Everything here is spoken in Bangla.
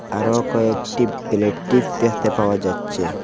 আরও কয়েকটি ব্লেটিভ দেখতে পাওয়া যাচ্ছে।